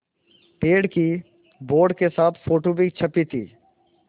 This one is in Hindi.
पेड़ की बोर्ड के साथ फ़ोटो भी छपी थी